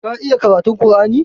Ka iya karatun ƙur'ani?